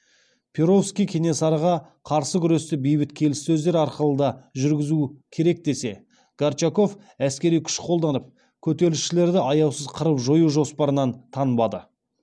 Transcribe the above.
перовский кенесарыға қарсы күресті бейбіт келіссөздер арқылы да жүргізу керек десе горчаков әскери күш қолданып көтерілісшілерді аяусыз қырып жою жоспарынан танбады